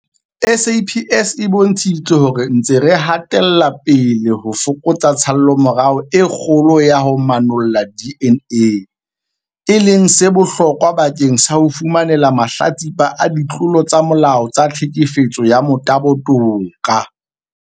SAPS e bontshitse hore re ntse re hatela pele ho fokotsa tshallomora e kgolo ya ho manolla DNA, e leng se bohlokwa bakeng sa ho fumanela mahlatsipa a ditlolo tsa molao tsa tlhekefetso ya motabo toka.